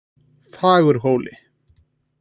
Fagurhóli